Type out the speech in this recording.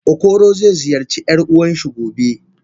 Okoro ze ziyarci yar uwanshi gobe.